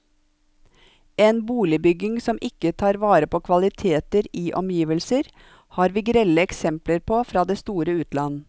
En boligbygging som ikke tar vare på kvaliteter i omgivelser, har vi grelle eksempler på fra det store utland.